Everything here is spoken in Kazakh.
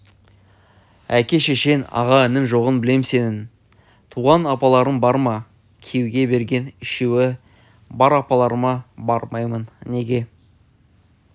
әке-шешең аға-інің жоғын білем сенін туысқан апаларын бар ма күйеуге берген үшеуі бар апаларыма бармаймын неге